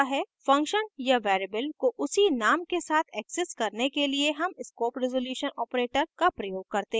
function या variable को उसी name के साथ access करने के लिए हम scope resolution operator :: का प्रयोग करते हैं